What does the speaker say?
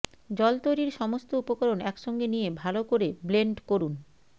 জল তৈরির সমস্ত উপকরণ একসঙ্গে নিয়ে ভালো করে ব্লেন্ড করুন